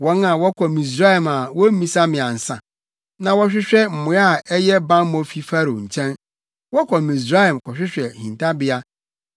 wɔn a wɔkɔ Misraim a wommisa me ansa; wɔhwehwɛ mmoa a ɛyɛ bammɔ fi Farao nkyɛn, wɔkɔ Misraim kɔhwehwɛ hintabea.